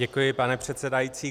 Děkuji, pane předsedající.